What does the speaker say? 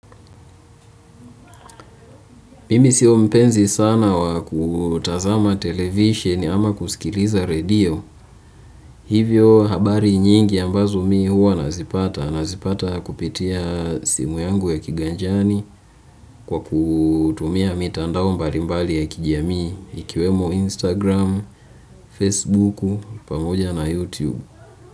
Mimi sio mpenzi sana wa kutazama televisheni ama kusikiliza redio. Hivyo habari nyingi ambazo mimi huwa nazipata. Nazipata kupitia simu yangu ya kiganjani kwa kutumia mitandao mbalimbali ya kijamii. Ikiwemo Instagram, Facebook, pamoja na YouTube.